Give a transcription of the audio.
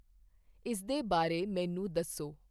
ਇਸਦੇ ਬਾਰੇ ਮੈਨੂੰ ਦੱਸੋ